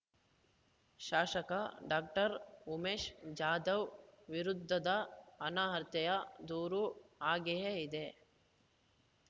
ಶಾಶಕ doctor Umesh Jadhav ವಿರುದ್ಧದ ಅನರ್ಹತೆಯ ದೂರು ಹಾಗೆಯೇ ಇದೆ